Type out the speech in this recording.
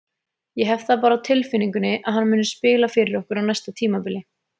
Ég hef það bara á tilfinningunni að hann muni spila fyrir okkur á næsta tímabili.